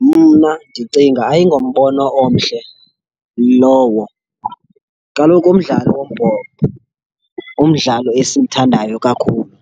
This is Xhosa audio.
Mna ndicinga ayingombono omhle lowo. Kaloku umdlalo wombhoxo ngumdlalo esiwuthandayo kakhulu,